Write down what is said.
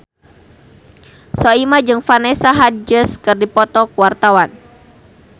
Soimah jeung Vanessa Hudgens keur dipoto ku wartawan